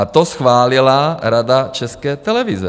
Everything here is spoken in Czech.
A to schválila Rada České televize.